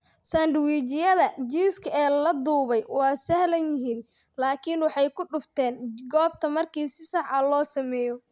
Sandwijyada jiiska ee la dubay waa sahlan yihiin, laakiin waxay ku dhufteen goobta markii si sax ah loo sameeyo.